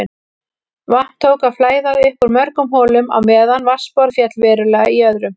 Vatn tók að flæða upp úr mörgum holum á meðan vatnsborð féll verulega í öðrum.